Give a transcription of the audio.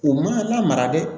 U ma lamara dɛ